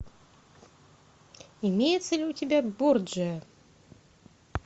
имеется ли у тебя борджиа